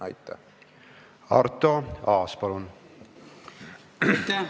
Aitäh!